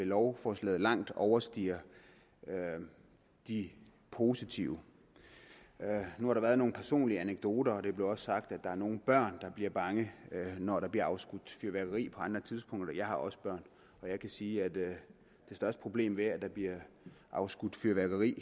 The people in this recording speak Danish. lovforslaget langt overstiger de positive nu har der været nogle personlige anekdoter og det blev også sagt at der er nogle børn der bliver bange når der bliver afskudt fyrværkeri på andre tidspunkter jeg har også børn og jeg kan sige at det største problem ved at der bliver afskudt fyrværkeri